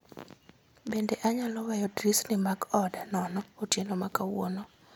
Bende anyalo weyo dirisni mag oda nono otieno ma kawuono